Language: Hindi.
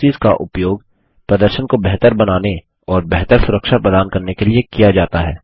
प्रोक्सीस का उपयोग प्रदर्शन को बेहतर बनाने और बेहतर सुरक्षा प्रदान करने के लिए किया जाता है